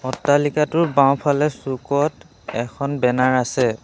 অট্টালিকাটোৰ বাওঁফালে চুকত এখন বেনাৰ আছে।